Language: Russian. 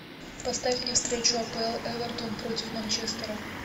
поставь мне встречу апл эвертон против манчестера